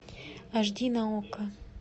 аш ди на окко